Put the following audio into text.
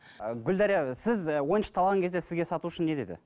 і гүлдәрия сіз ойыншықты алған кезде сізге сатушы не деді